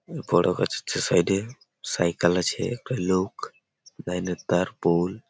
এ বড়ো গাছটার সাইড -এ সাইকেল আছে একটা লোক লাইন -এর তার পোল--